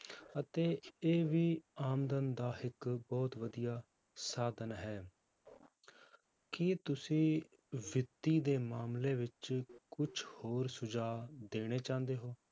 ਅਤੇ ਇਹ ਵੀ ਆਮਦਨ ਦਾ ਇੱਕ ਬਹੁਤ ਵਧੀਆ ਸਾਧਨ ਹੈ ਕੀ ਤੁਸੀਂ ਵਿੱਤੀ ਦੇ ਮਾਮਲੇ ਵਿੱਚ ਕੁਛ ਹੋਰ ਸੁਝਾਅ ਦੇਣੇ ਚਾਹੁੰਦੇ ਹੋ?